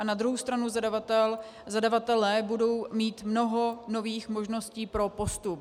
A na druhou stranu zadavatelé budou mít mnoho nových možností pro postup.